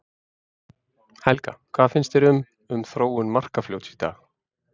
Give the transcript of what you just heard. Helga: Hvað finnst þér um, um þróun Markarfljóts í dag?